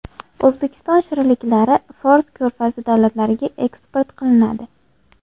O‘zbekiston shirinliklari Fors ko‘rfazi davlatlariga eksport qilinadi.